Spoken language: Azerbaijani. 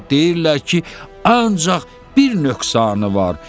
Deyirlər ki, ancaq bir nöqsanı var.